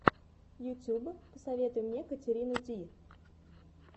ютуб посоветуй мне катерину ди